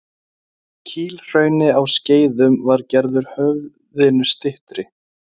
Kílhrauni á Skeiðum var gerður höfðinu styttri.